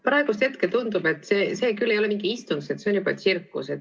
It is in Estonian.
Praegusel hetkel tundub, et see ei ole mingi istung, see on juba tsirkus.